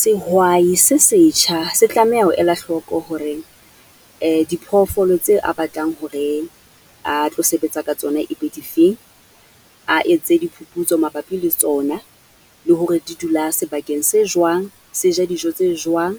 Sehwai se setjha se tlameha ho ela hloko hore diphoofolo tse a batlang hore a tlo sebetsa ka tsona e be dife, a etse diphuputso mabapi le tsona, le hore di dula sebakeng se jwang, se ja dijo tse jwang?